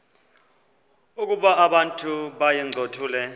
ukuba abantu bayincothule